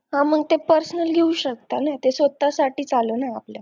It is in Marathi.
हा मग ते personal घेऊ शकता ना ते स्वतःसाठीच आलं ना आपल्या